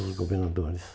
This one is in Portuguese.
os governadores.